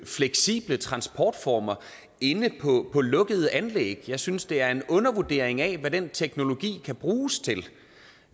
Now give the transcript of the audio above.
fleksible transportformer inde på lukkede anlæg jeg synes det er en undervurdering af hvad den teknologi kan bruges til